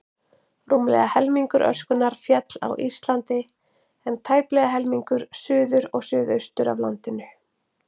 Rúmlega helmingur öskunnar féll á Íslandi, en tæplega helmingur suður og suðaustur af landinu.